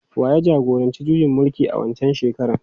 Wa ya jagoranci juyin mulkin a waccan shekarar?